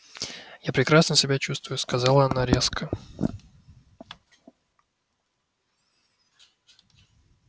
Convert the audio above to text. я прекрасно себя чувствую сказала она резко